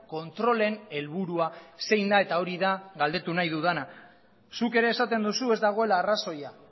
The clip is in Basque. kontrolen helburua zein da eta hori da galdetu nahi dudana zuk ere esaten duzu ez dagoela arrazoia